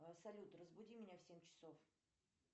салют разбуди меня в семь часов